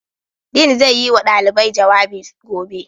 Dean zai yi wa ɗalibai jawabi gobe.